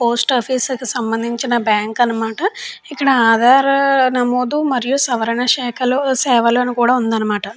Post office కి సంబంధించిన bank అన్నమాట ఇక్కడ ఆధార్ నమోదు మరియు సవరణ శాఖలో సేవలను కూడా ఉందన్నమాట.